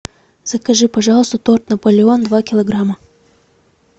закажи пожалуйста торт наполеон два килограмма